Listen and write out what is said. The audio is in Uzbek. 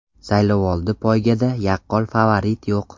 Saylovoldi poygada yaqqol favorit yo‘q.